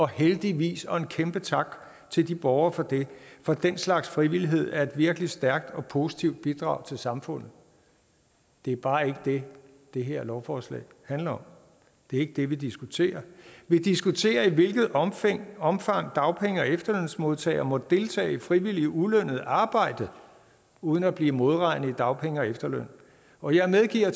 heldigvis og en kæmpe tak til de borgere for det for den slags frivillighed er et virkelig stærkt og positivt bidrag til samfundet det er bare ikke det det her lovforslag handler om det er ikke det vi diskuterer vi diskuterer i hvilket omfang omfang dagpenge og efterlønsmodtagere må deltage i frivilligt ulønnet arbejde uden at blive modregnet i dagpenge og efterløn og jeg medgiver